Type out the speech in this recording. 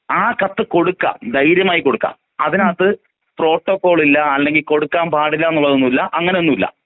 ആ കത്ത് കൊടുക്കാം ധൈര്യമായി കൊടുക്കാം.ആ കത്തിനകത്ത് പ്രോട്ടോകോൾ ഇല്ല അല്ലെങ്കിൽ കൊടുക്കാൻ പാടില്ല എന്ന്ള്ളതൊന്നും ഇല്ല. അങ്ങനൊന്നൂല്ല.